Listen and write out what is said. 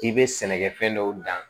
K'i bɛ sɛnɛkɛfɛn dɔw dan